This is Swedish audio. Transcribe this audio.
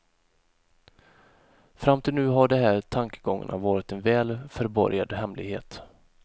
Fram till nu har de här tankegångarna varit en väl förborgad hemlighet.